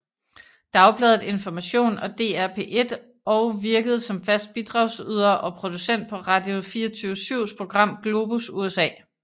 Dagbladet Information og DR P1 og virkede som fast bidragyder og producent på Radio24syvs program Globus USA